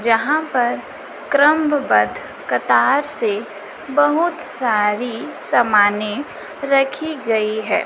जहां पर क्रमबद्ध कतार से बहुत सारी समाने रखी गई है।